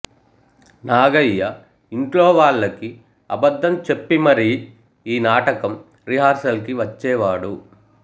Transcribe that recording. నాగయ్య ఇంట్లో వాళ్ళకి అబద్ధం చెప్పి మరీ ఈ నాటకం రిహార్సల్ కి వచ్చేవాడు